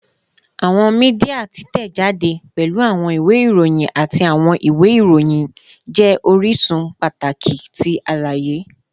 Awọn media titẹjade, pẹlu awọn iwe iroyin ati awọn iwe iroyin, jẹ orisun pataki ti alaye